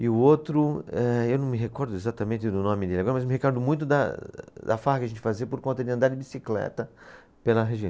E o outro, eh, eu não me recordo exatamente do nome dele agora, mas me recordo muito da, da farra que a gente fazia por conta de andar de bicicleta pela região.